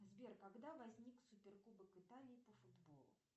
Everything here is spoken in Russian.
сбер когда возник супер кубок италии по футболу